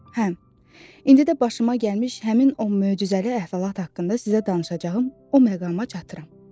Hə, indi də başıma gəlmiş həmin o möcüzəli əhvalat haqqında sizə danışacağım o məqama çatıram.